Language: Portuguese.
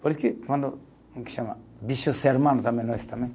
Por isso que quando um que chama, nós também.